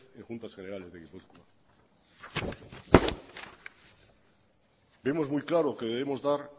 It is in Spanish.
en juntas generales de gipuzkoa vemos muy claro que debemos dar